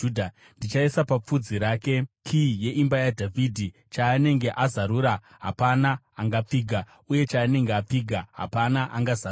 Ndichaisa papfudzi rake kiyi yeimba yaDhavhidhi; chaanenge azarura hapana angapfiga, uye chaanenge apfiga hapana angazarura.